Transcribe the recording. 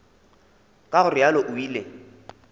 ka go realo o ile